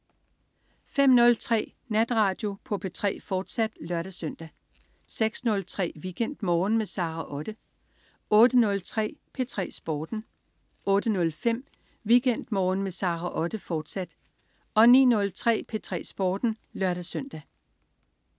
05.03 Natradio på P3, fortsat (lør-søn) 06.03 WeekendMorgen med Sara Otte 08.03 P3 Sporten 08.05 WeekendMorgen med Sara Otte, fortsat 09.03 P3 Sporten (lør-søn)